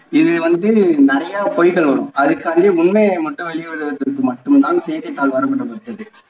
இது வந்து நிறைய பொய்கள் வரும் அதுக் காண்டி உண்மையை மட்டும் வெளிவதற்கு மட்டும் தான் செய்த்தித்தாள் வரும்